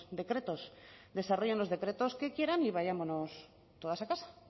decretos desarrollen los decretos que quieran y vayámonos todas a casa